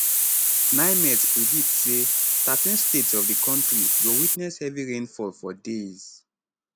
nimet predict say thirteen states of di kontri go witness heavy rainfall for days